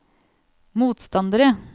motstandere